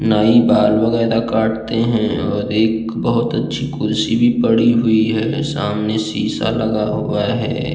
नाई बाल वगैरा भी काटते हैं और एक बहुत अच्छी कुर्सी भी पड़ी हुई है। सामने शीशा लगा हुआ है।